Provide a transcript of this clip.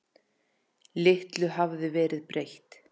Litlu hafði verið breytt.